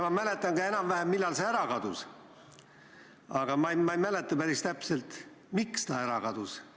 Ma mäletan ka enam-vähem, millal see ära kadus, aga ma ei mäleta päris täpselt, miks ta ära kadus.